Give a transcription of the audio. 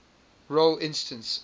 role instance